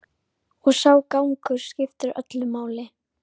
Og sá gangur skiptir öllu máli.